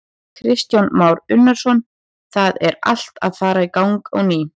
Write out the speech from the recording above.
Kristján Már Unnarsson: Það er allt að fara í gang á ný?